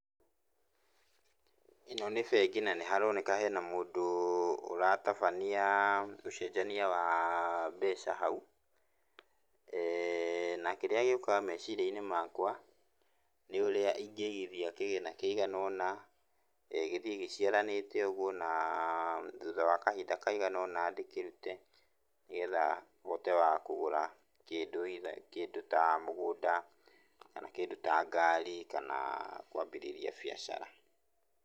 Ĩno nĩ bengi na nĩharoneka hena mũndũ, ũratabania ũcenjania wa mbeca hau. Na kĩrĩa gĩũkaga meciria makwa, nĩ ũrĩa ingĩigithia kĩgĩna kĩigana ũna, gĩthiĩ gĩciaranĩte ũguo, na thutha wa kahinda kaigana ũna ndĩkĩrute, nĩgetha hote wa kũgũra kĩndũ either kĩndũ ta mũgũnda kana kĩndũ ta ngari kana kwambĩrĩria biacara.